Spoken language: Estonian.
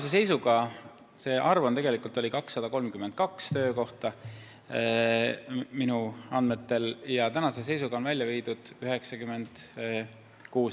See töökohtade arv minu andmetel on 232 ja tänase seisuga on Ida-Virumaale viidud 96.